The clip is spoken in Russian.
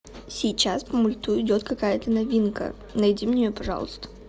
сейчас по мульту идет какая то новинка найди мне ее пожалуйста